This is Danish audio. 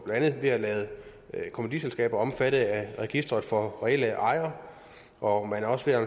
andet ved at lade kommanditselskaber omfatte af et register for reelle ejere og man er også ved at